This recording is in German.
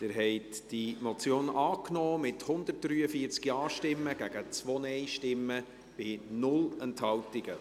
Sie haben diese Motion angenommen, mit 143 Ja- gegen 2 Nein-Stimmen bei 0 Enthaltungen.